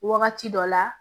Wagati dɔ la